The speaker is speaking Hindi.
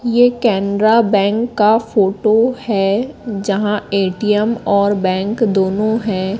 ये कैनरा बैंक का फोटो है जहां ए_टी_एम और बैंक दोनों है।